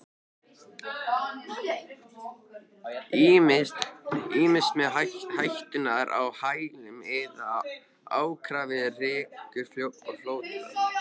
Ýmist með hætturnar á hælunum eða ákafir rekum flóttann.